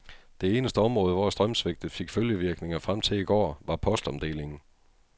Det eneste område, hvor strømsvigtet fik følgevirkninger frem til i går, var postomdelingen.